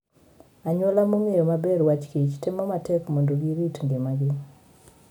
Anyuola mong'eyo maber wach kich , temo matek mondo girit ngimagi.